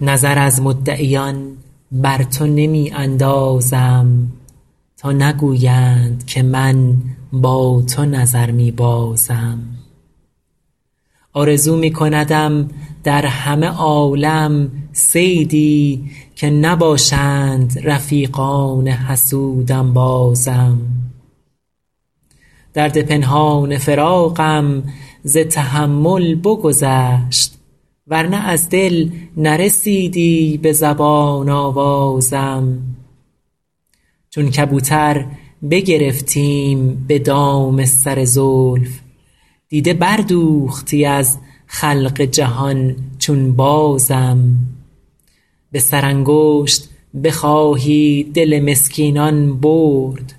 نظر از مدعیان بر تو نمی اندازم تا نگویند که من با تو نظر می بازم آرزو می کندم در همه عالم صیدی که نباشند رفیقان حسود انبازم درد پنهان فراقم ز تحمل بگذشت ور نه از دل نرسیدی به زبان آوازم چون کبوتر بگرفتیم به دام سر زلف دیده بردوختی از خلق جهان چون بازم به سرانگشت بخواهی دل مسکینان برد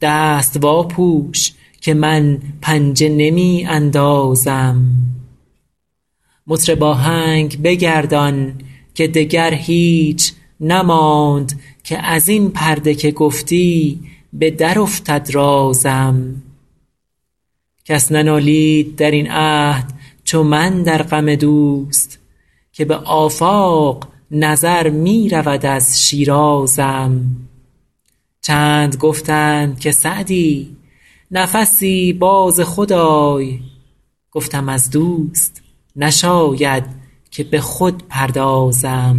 دست واپوش که من پنجه نمی اندازم مطرب آهنگ بگردان که دگر هیچ نماند که از این پرده که گفتی به درافتد رازم کس ننالید در این عهد چو من در غم دوست که به آفاق نظر می رود از شیرازم چند گفتند که سعدی نفسی باز خود آی گفتم از دوست نشاید که به خود پردازم